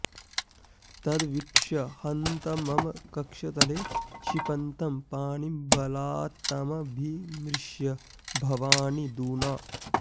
तद्वीक्ष्य हन्त मम कक्षतले क्षिपन्तं पाणिं बलात्तमभिमृश्य भवानि दूना